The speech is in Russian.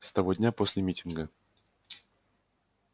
с того дня после митинга